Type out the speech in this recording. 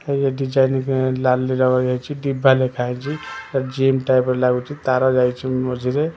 ଡିବା ଲେଖାଯାଇଛି gym type ର ଲାଗୁଛି ତାର ଯାଇଛି ମଝିରେ--